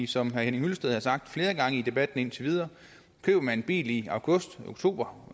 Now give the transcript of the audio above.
som herre henning hyllested har sagt flere gange i debatten indtil videre køber man en bil i august eller oktober